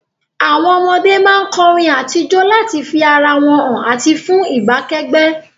Àwon ọmọdé má n korin àti jo láti fi ara wón han àti fun ìbá kẹ́gbẹ́